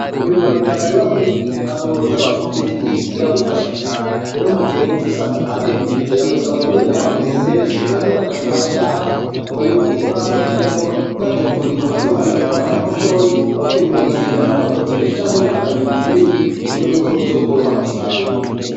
Ukurima kijambere wakurikije impanuro z'abafundi b'indimo biragufasha cane. Rero mugihe uba ufise ahantu hanini biragusaba guhiga n'abakozi benshi, canke ukaja mumashirahamwe akaba ariyo mukorana kugirango baje kurima baziharime umwanya mutoyi, no kwimbura ugahiga n'abakozi benshi canke ukaja mu kibiri kuburyo bw'uko bizokworoha gusarura.